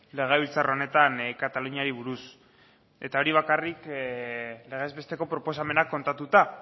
legebiltzar honetan kataluniari buruz eta hori bakarrik legezbesteko proposamenak kontatuta